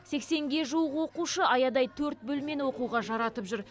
сексенге жуық оқушы аядай төрт бөлмені оқуға жаратып жүр